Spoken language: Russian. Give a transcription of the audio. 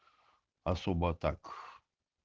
особо так